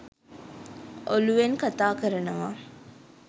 ඔලූවෙන් කතා කරනවා.